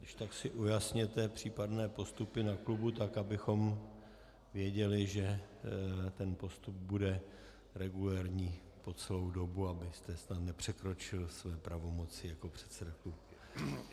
Když tak si ujasněte případné postupy na klubu tak, abychom věděli, že ten postup bude regulérní po celou dobu, abyste snad nepřekročil své pravomoci jako předseda klubu.